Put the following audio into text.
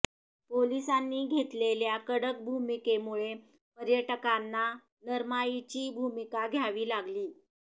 पोलीसांनी घेतलेल्या कडक भूमिकेमुळे पर्यटकांना नरमाईची भूमिका घ्यावी लागली